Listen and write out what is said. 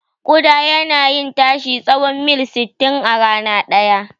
Ƙuda yana iya tashi tsahon mil sittin a rana ɗaya.